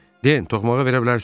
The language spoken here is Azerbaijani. Den, toxumağa verə bilərsən?